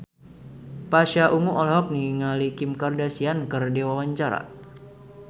Pasha Ungu olohok ningali Kim Kardashian keur diwawancara